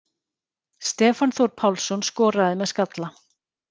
Stefán Þór Pálsson skoraði með skalla.